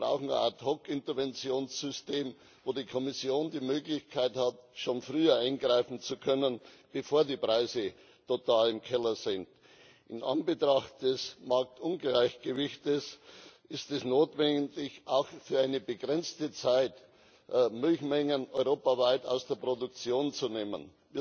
Wir brauchen ein Ad hoc Interventionssystem, wo die Kommission die Möglichkeit hat, schon früher eingreifen zu können, bevor die Preise total im Keller sind. In Anbetracht des Marktungleichgewichtes ist es notwendig, auch für eine begrenzte Zeit, Milchmengen europaweit aus der Produktion zu nehmen.